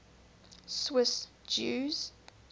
swiss jews